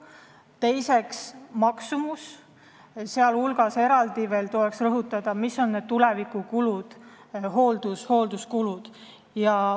Teiseks, maksumus, sh tuleks eraldi rõhutada, mis on tulevikus hoolduskulud.